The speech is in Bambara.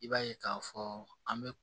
I b'a ye k'a fɔ an bɛ